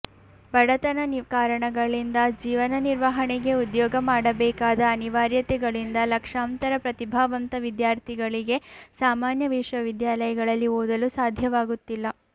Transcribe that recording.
ಬಡತನ ಕಾರಣಗಳಿಂದ ಜೀವನ ನಿರ್ವಹಣೆಗೆ ಉದ್ಯೋಗ ಮಾಡಬೇಕಾದ ಅನಿವಾರ್ಯತೆಗಳಿಂದ ಲಕ್ಷಾಂತರ ಪ್ರತಿಭಾವಂತ ವಿದ್ಯಾರ್ಥಿಗಳಿಗೆ ಸಾಮಾನ್ಯ ವಿಶ್ವವಿದ್ಯಾಲಯಗಳಲ್ಲಿ ಓದಲು ಸಾಧ್ಯವಾಗುತ್ತಿಲ್ಲ